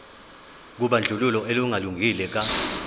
kobandlululo olungalungile ka